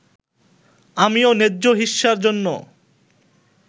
আমিও ন্যায্য হিস্যার জন্য